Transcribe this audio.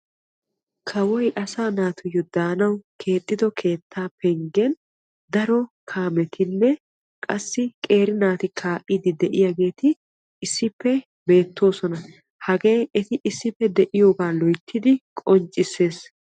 Kawoy asaa natuyoo daanawu keexxido keettaa penggen daro kaametinne qassi qeeri naati kaa"iidi de'iyaageti issippe beettoosona. hagee eti issippe de'iyoogaa loyttidi qonccisses.